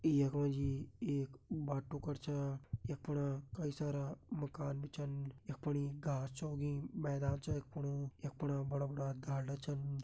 यख मा जी एक बाट्टू कर छ यख फणा कई सारा माकन भी छन यख फणी घास छ उगीं मैदान छ यख फण यख फणा बड़ा बड़ा ढालदा छन।